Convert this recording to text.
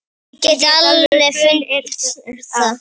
Ég get alveg fullyrt það.